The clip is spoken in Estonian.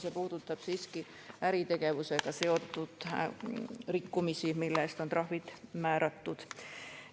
See puudutab siiski äritegevusega seotud rikkumisi, mille eest on trahvid määratud.